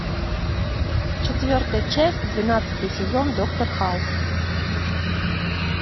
четвертая часть двенадцатый сезон доктор хаус